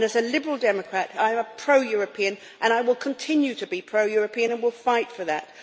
As a Liberal Democrat, I am a pro European, will continue to be pro European, and will fight for that.